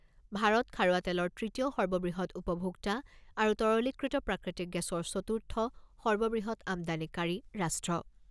ভাৰত খাৰুৱা তেলৰ তৃতীয় সৰ্ববৃহৎ উপভোক্তা আৰু তৰলীকৃত প্ৰাকৃতিক গেছৰ চতুৰ্থ সৰ্ববৃহৎ আমদানীকাৰী ৰাষ্ট্ৰ।